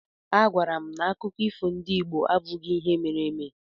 A gwaara m na akụkọ ifo ndị Igbo abụghị ihe mere eme.